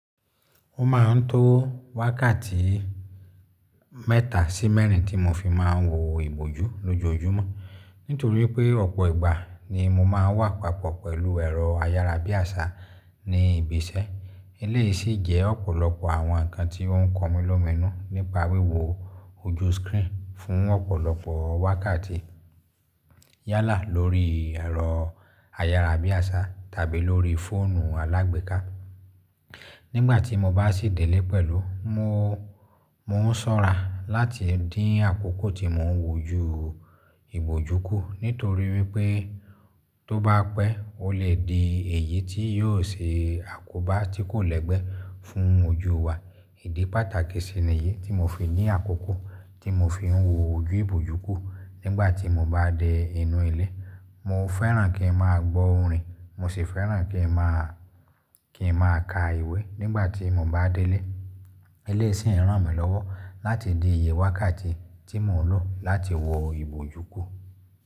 Ó ma ń tó wákàtí mẹ́ta sí mẹ́rin tí mo fi ma ń wo ìbòjú lójoojúmọ́. Nítorí pé ọ̀pọ̀ ìgbà ni mo ma ń wà papọ̀ pẹ̀lú ẹ̀rọ ayárabíàṣá ní ibi iṣẹ́. Eléyìí sì jẹ́ ọ̀pọ̀lọpọ̀ àwọn ǹkan tí ó ń kan mi lómìnu nípa wíwo ojú screen fún ọ̀pọ̀lọpọ̀ wákàtí yálà lórí ẹ̀rọ ayárabíàṣá tàbí lórí fóònù alágbèéká. Nígbà tí mo bá sì délé pẹ̀lú, mo, mo ń sọ́ra láti dín àkókò tí mo ń wòju ìbòjú kù. Nítorí wipé tó bá pẹ́, ó lè di èyí tí yóò ṣe àkóbá tí kò lẹ́gbẹ́ fún ojú wa. Ìdí pàtàkì sì niyí tí mo fi ní àkókò tí mo fi ń wo ojú ìbòjú kù. Nígbà tí mo bá dẹ inú ilé, mo fẹ́ràn kí n máa gbọ́ orin. Mo sì fẹ́ràn kí n máa, kí n máa ka ìwé nígbà tí mo bá délé. Eleyìí si n ràn mí lọ́wọ́ láti di ìyè wákàtí tí mo ń lò láti wo ìbòjú kù.